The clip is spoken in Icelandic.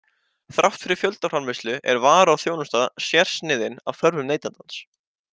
Þrátt fyrir fjöldaframleiðslu er vara og þjónusta sérsniðin að þörfum neytandans.